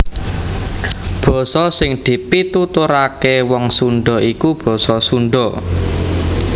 Basa sing dipituturaké Wong Sundha iku basa Sundha